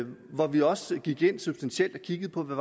hvor vi også gik ind substantielt og kiggede på hvad